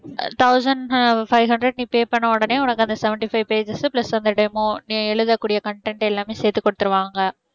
thousand five hundred நீ pay பண்ண உடனே உனக்கு அந்த seventy five pages plus அந்த demo நீ எழுதக்கூடிய content எல்லாமே சேர்த்து குடுத்துடுவாங்க